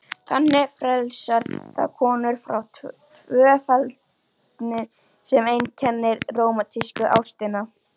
Þannig frelsar það konur frá tvöfeldninni sem einkenndi rómantísku ástina.